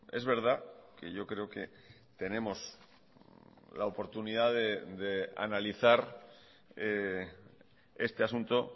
es verdad que yo creo que tenemos la oportunidad de analizar este asunto